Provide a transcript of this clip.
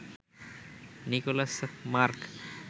Nicolas mark